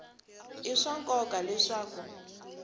i swa nkoka leswaku ku